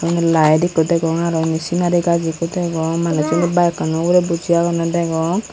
yot laed ikko degong aro indi sinari gaaj ikko degong manujjuney baekkano ugurey buji agonney degong.